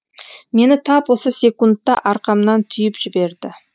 мені тап осы секундта арқамнан түйіп жіберді